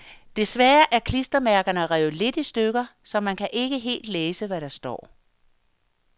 Desværre er klistermærkerne revet lidt i stykker, så man kan ikke helt læse, hvad der står.